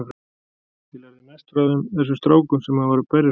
Ég lærði mest frá þeim, þessum strákum sem maður var að berjast við.